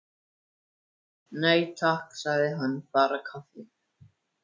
Nei, takk, sagði hann, bara kaffi.